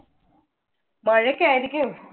മഴയ്ക്ക് ആയിരിക്കും.